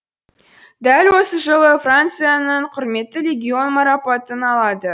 дәл осы жылы францияның құрметті легион марапатын алады